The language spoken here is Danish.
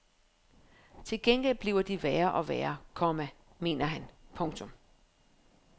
Til gengæld bliver de værre og værre, komma mener han. punktum